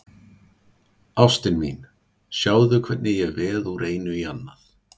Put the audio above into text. Ástin mín, sjáðu hvernig ég veð úr einu í annað.